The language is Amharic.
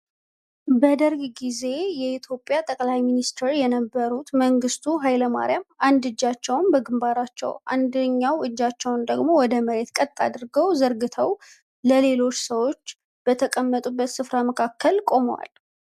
በደርግ ጊዜ የኢትዮጵያ ጠቅላይ ሚንስቴር የነበሩት መንግስቱ ሃይለማርያም አንድ እጃቸውን በግንባራቸው፤ አንደኛውን እጃቸውን ደግሞ ወደ መሬት ቀጥ አድርገው ዘርግተው ሌሎች ሰዎች በተቀመጡበት ስፍራ መካከል ቆመዋል።